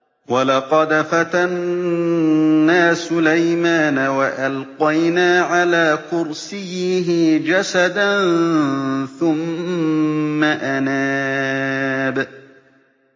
وَلَقَدْ فَتَنَّا سُلَيْمَانَ وَأَلْقَيْنَا عَلَىٰ كُرْسِيِّهِ جَسَدًا ثُمَّ أَنَابَ